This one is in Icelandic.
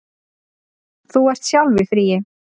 Þú ert sjálf í fríi.